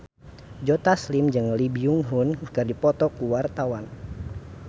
Joe Taslim jeung Lee Byung Hun keur dipoto ku wartawan